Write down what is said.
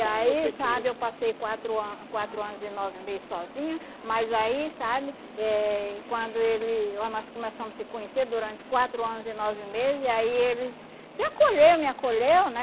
E aí, sabe, eu passei quatro an quatro anos e nove meses sozinha, mas aí, sabe, eh quando ele oh nós começamos a se conhecer durante quatro anos e nove meses, aí ele se acolheu, me acolheu, né?